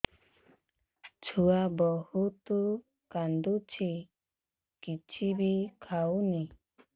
ଛୁଆ ବହୁତ୍ କାନ୍ଦୁଚି କିଛିବି ଖାଉନି